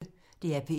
DR P1